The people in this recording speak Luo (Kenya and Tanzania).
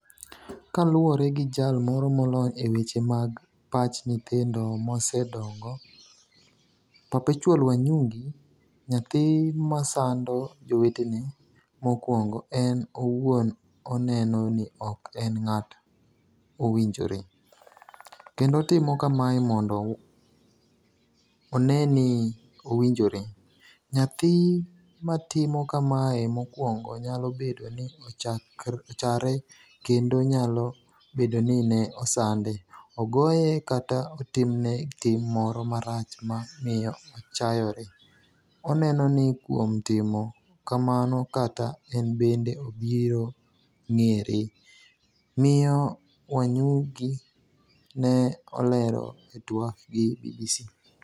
Kaluwore gi jal moro molony e weche mag pach nyithindo mosedongo , Perpetual Wanyugi, nyathi masando jowetene , mokwongo en owuon oneno ni ok en ng'at owinjore, kendo otimo kamae mondo one ni owinjore .nyathi matimo kamae mokwongo nyalo bedo ni ochare kendo nyalo bedo ni ne osande, ogoye kata otimne tim moro marach ma miyo ochayore, oneno ni kuom timo kamano kata en bende obiro ng’ere'', miyo Wanyugi ne olero e twak gi BBC .